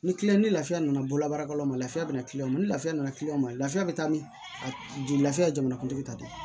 Ni ni lafiya nana bololabaarakɛlaw ma lafiya bɛ na ni lafiya nana kiliyanw ma lafiya bɛ taa ni joli lafiya ye jamanakuntigi ta de ye